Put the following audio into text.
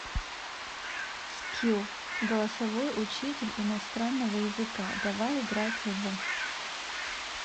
скилл голосовой учитель иностранного языка давай играть в